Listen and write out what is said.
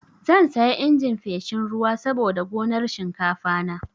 Zan saya injin feshin ruwa saboda gonar shinkafana.